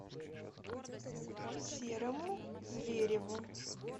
серому звереву